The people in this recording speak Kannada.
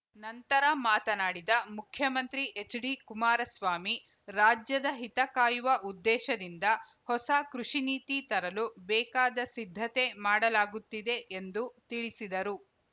ನಂತರ ಮಾತನಾಡಿದ ಮುಖ್ಯಮಂತ್ರಿ ಎಚ್‌ಡಿಕುಮಾರಸ್ವಾಮಿ ರಾಜ್ಯದ ಹಿತಕಾಯುವ ಉದ್ದೇಶದಿಂದ ಹೊಸ ಕೃಷಿ ನೀತಿ ತರಲು ಬೇಕಾದ ಸಿದ್ಧತೆ ಮಾಡಲಾಗುತ್ತಿದೆ ಎಂದು ತಿಳಿಸಿದರು